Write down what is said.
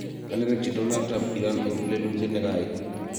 kanerekchi Donald Trump Iran eng lelutiet nekaai